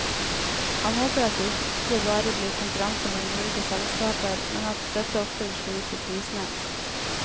Han håper at det ikke bare blir konkurranse mellom ulike selskaper, men at dette også vil slå ut på prisene.